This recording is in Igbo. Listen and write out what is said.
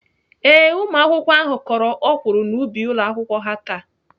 Ee, ụmụakwụkwọ ahụ kọrọ ọkwụrụ n'ubi ụlọakwụkwọ ha taa.